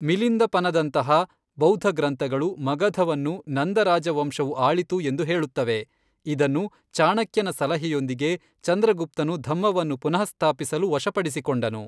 ಮಿಲಿಂದಪನದಂತಹ ಬೌದ್ಧ ಗ್ರಂಥಗಳು ಮಗಧವನ್ನು ನಂದ ರಾಜವಂಶವು ಆಳಿತು ಎಂದು ಹೇಳುತ್ತವೆ, ಇದನ್ನು, ಚಾಣಕ್ಯನ ಸಲಹೆಯೊಂದಿಗೆ, ಚಂದ್ರಗುಪ್ತನು ಧಮ್ಮವನ್ನು ಪುನಃಸ್ಥಾಪಿಸಲು ವಶಪಡಿಸಿಕೊಂಡನು.